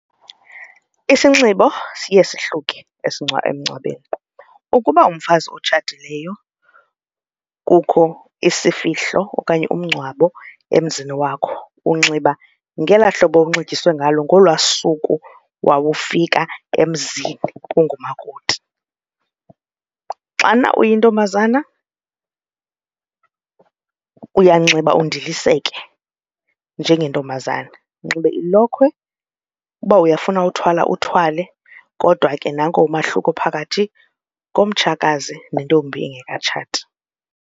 Isinxibo siye sihluke emngcwabeni, ukuba ngumfazi otshatileyo kukho isifihlo okanye umngcwabo emzini wakho unxiba ngelaa hlobo unxityiswe ngalo nglwaa suku wawufika emzini ungumakoti. Xana uyintombazana uyanxiba ndiphiliseke njengentombazana unxibe ilokhwe uba uyafuna uthwala uthwale kodwa ke nanko umahluko phakathi komtshakazi nentombi engekatshati.